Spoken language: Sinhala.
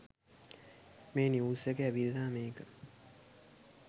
මේ නිව්ස් එක ඇවිල්ල මේක